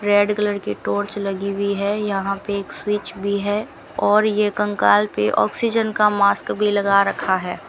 Red colour की torch लगी हुई है यहां पे एक स्विच भी है और ये कंकाल पे ऑक्सीजन का मास्क भी लगा रखा है।